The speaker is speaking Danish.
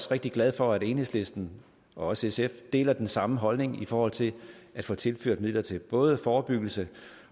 rigtig glad for at enhedslisten og også sf deler den samme holdning i forhold til at få tilført midler til både forebyggelse